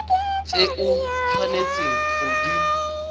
tse o tshwanetseng go di